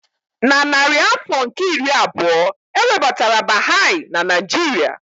Na narị afọ nke iri abụọ, e webatara Baha'i na Nigeria.